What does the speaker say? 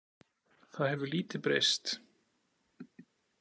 Það hefur lítið breyst.